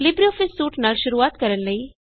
LibreOffice suite ਨਾਲ ਸ਼ੁਰੁਆਤ ਕਰਣ ਲਈ